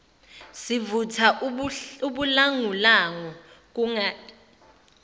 sivutha ubulangulangu kungabi